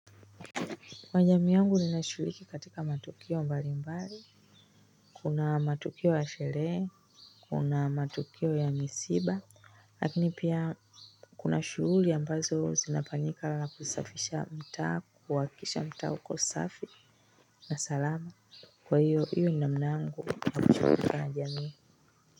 Kwa jamii yangu nashiriki katika matukio mbalimbali, kuna matukio ya sherehe. Kuna matukio ya misiba lakini pia kuna shughuli ambazo zinafanyika kama kusafisha mtaa, kuhakikisha mtaa uko safi na salama kwa hiyo, hiyo ni namna yangu kushughulika na jamii.